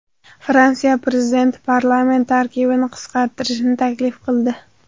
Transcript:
Fransiya prezidenti parlament tarkibini qisqartirishni taklif qildi.